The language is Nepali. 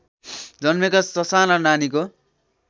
जन्मेका ससाना नानीको